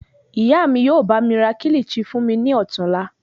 Ìyá mí yóò bá mi ra kilichi fún mi ní ọ̀tuùla.